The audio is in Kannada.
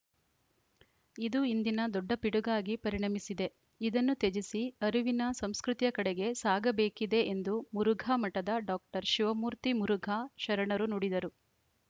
ಇದು ಇಂದಿನ ದೊಡ್ಡ ಪಿಡುಗಾಗಿ ಪರಿಣಮಿಸಿದೆ ಇದನ್ನು ತ್ಯಜಿಸಿ ಅರಿವಿನ ಸಂಸ್ಕೃತಿಯ ಕಡೆಗೆ ಸಾಗಬೇಕಿದೆ ಎಂದು ಮುರುಘಾ ಮಠದ ಡಾಕ್ಟರ್ ಶಿವಮೂರ್ತಿ ಮುರುಘಾ ಶರಣರು ನುಡಿದರು